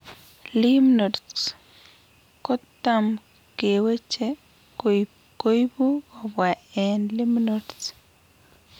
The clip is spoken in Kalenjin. Lymph nodes kotem keweche koibu kobwaa eng' lymph nodes